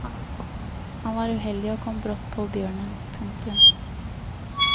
Han var uheldig og kom brått på bjørnen. punktum